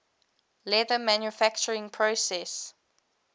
leather manufacturing process